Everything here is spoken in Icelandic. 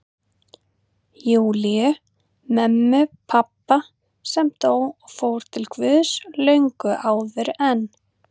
Júlíu, mömmu pabba, sem dó og fór til Guðs löngu áður en